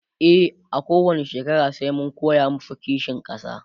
e a kowani shekara sai mun koya masu kishin ƙasa